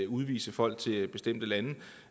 udvise folk til bestemte lande